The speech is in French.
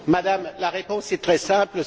Madame, la réponse est très simple.